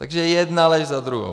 Takže jedna lež za druhou.